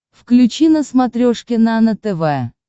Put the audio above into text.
включи на смотрешке нано тв